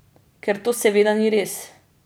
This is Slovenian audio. Ker to seveda ni res.